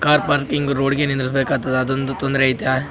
Car parking road ಗೆ ನಿಲ್ಲಿಸ್ಬೇಕಾದತ ಅದೊಂದು ತೊಂದ್ರೆ ಐತೆ .